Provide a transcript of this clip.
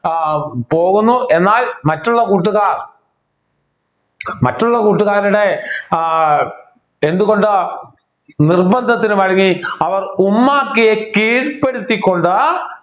ആഹ് പോകുന്നു എന്നാൽ മറ്റുള്ള കൂട്ടുകാർ മറ്റുള്ള കൂട്ടുകാരുടെ ആഹ് എന്തുകൊണ്ട് നിർബന്ധത്തിനു വഴങ്ങി അവർ ഉമ്മാക്കിയെ കീഴ്പെടുത്തി കൊണ്ട്